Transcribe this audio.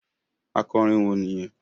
Akọrin wo nìyẹn?